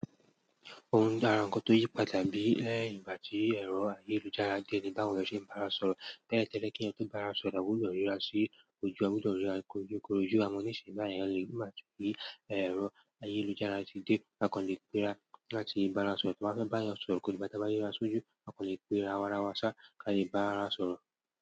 Ohun jara nǹkan tó yí pa bí lẹ́yìn ìgbà tí ẹ̀rọ ayélujára dé ni báwo ni a ṣe ń bá ara sọ̀rọ̀. Tẹ́lẹ̀ tẹ́lẹ̀ kí ẹni tó bá ara sọ̀rọ̀, àbúdọ̀ ríra sí ojú a, àbúdọ̀ ríra koro ju koro ju a mọ ní ìsìn báyìí ẹ̀yàn lè. Ó máa tú kí ẹ̀rọ ayélujára tí dé, a kò lè pera láti bá ara sọ̀rọ̀. Tó bá fẹ́ bá èyàn sọ̀rọ̀ kò dígbá te bá rira sójú, a kò lè pera aráwá ṣá, ká dè bá arawa sọ̀rọ̀.